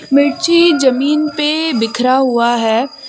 मिर्ची जमीन पे बिखरा हुआ है।